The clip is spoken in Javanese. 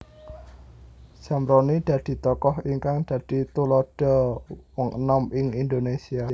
Zamroni dadi tokoh ingkang dadi tuladha wong enom ing Indonesia